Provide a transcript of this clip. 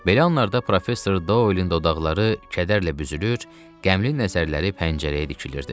Belə anlarda professor Dolin dodaqları kədərlə büzülür, qəmli nəzərləri pəncərəyə dikilirdi.